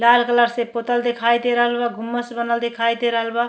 लाल colour से पोतल दिखाई दे रहल बा। गुम्स बनल दिखाई दे रहल बा।